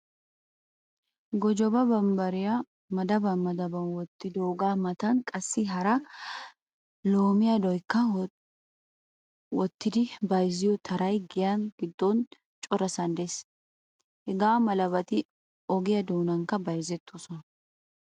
Gojoba bambbariya madaban madaban wottidoogaa matan qassi hara lomiyaaduwaakka wottidi bayzziyo taray giya giddon corasan de'ees. Hagaa malabati ogiyaa doonankka bayzettoosona.